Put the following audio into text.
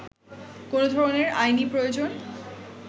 কোন ধরনের আইনী প্রয়োজন